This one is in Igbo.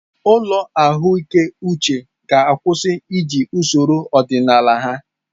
Ụlọ ahụike uche ga-akwụsị iji usoro ọdịnala ha.